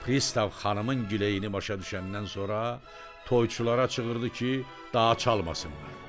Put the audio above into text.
Pristav xanımın güleyini başa düşəndən sonra toyçulara çığırdı ki, daha çalmasınlar.